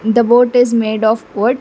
the boat is made of wood.